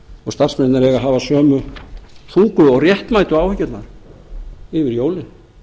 og starfsmennirnir eiga að hafa sömu þungu og réttmætu áhyggjurnar yfir jólin